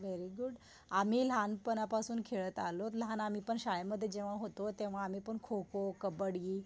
Very good आम्ही लहानपनापासून खेळत आलोय. लहान आम्हीपण शाळेमध्ये जेव्हा होतो तेव्हा आम्हीपण खो खो, कब्बडी